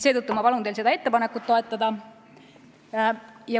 Seetõttu ma palun teil seda ettepanekut toetada.